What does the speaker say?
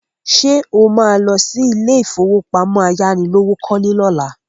Ṣé o má lọ sí ilé ìfowópamọ́ ayánilówókọ́lé lọ́la?